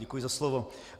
Děkuji za slovo.